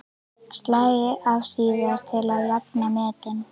Slæ af síðar til að jafna metin.